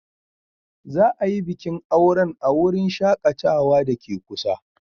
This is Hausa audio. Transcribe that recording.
Za a yi bikin auren a wurin shakatawa da ke kusa.